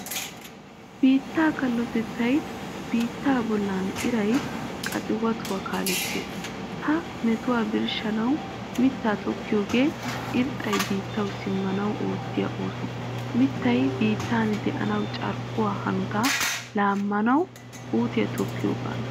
Biittaa kallotettay biittaa bollan iraa qaxiwatuwaa kaalettees. Ha metuwaa birshshanawu mitta tokkiyogan irxxay biittawu simmanawu oottiyo oosuwaa. Mittay biittan de'anawu carkkuwaa hanotaa laamanawu puutiyaa tokkiyogana.